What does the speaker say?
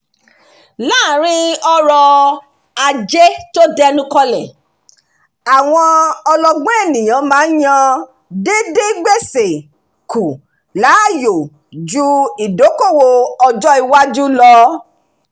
láàrin ọrọ̀-ajé tó dẹnu kọlẹ̀ àwọn ọlọ́gbọ́n ènìyàn máa ń yan díndín gbèsè kù láàyò ju ìdókòwò ọjọ́-iwájú lọ